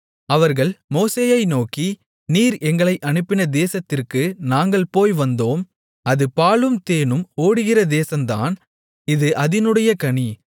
அவர்கள் மோசேயை நோக்கி நீர் எங்களை அனுப்பின தேசத்திற்கு நாங்கள் போய் வந்தோம் அது பாலும் தேனும் ஓடுகிற தேசந்தான் இது அதினுடைய கனி